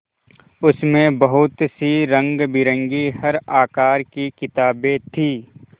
उसमें बहुत सी रंगबिरंगी हर आकार की किताबें थीं